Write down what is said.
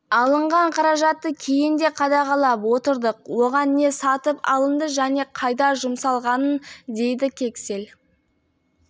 алынған қаражатты кейін де қадағалап отырдық оған не сатып алынды және қайда жұмсалғанын деіді кексель